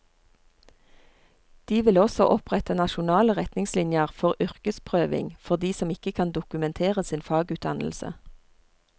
De vil også opprette nasjonale retningslinjer for yrkesprøving for de som ikke kan dokumentere sin fagutdannelse.